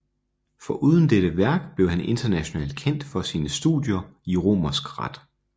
Foruden dette værk blev han internationalt kendt for sine studier i romersk ret